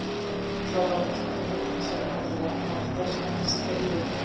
жоғары кернеулі трансформаторлар нарықта сұранысқа ие